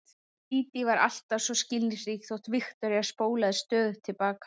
Dídí var alltaf svo skilningsrík þótt Viktoría spólaði stöðugt til baka.